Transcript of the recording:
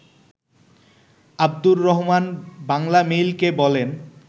আবদুর রহমান বাংলামেইলকে বলেন